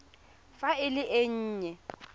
fa e le e nnye